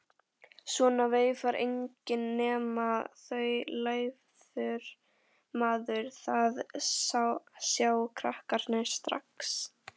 Svona veifar enginn nema þaulæfður maður, það sjá krakkarnir strax.